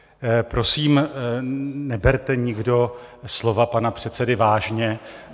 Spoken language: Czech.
Prosím, neberte nikdo slova pana předsedy vážně.